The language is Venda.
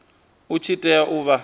i tshi tea u vha